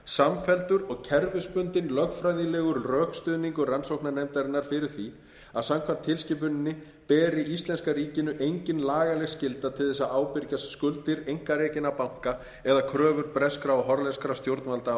samfelldur og kerfisbundinn lögfræðilegur rökstuðningur rannsóknarnefndarinnar fyrir því að samkvæmt tilskipuninni beri íslenska ríkinu engin lagaleg skylda til þess að ábyrgjast skuldir einkarekinna banka eða kröfur breskra og hollenskra stjórnvalda